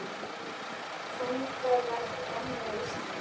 Þannig var gamla Ísland.